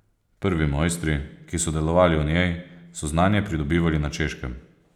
Prvi mojstri, ki so delovali v njej, so znanje pridobivali na Češkem.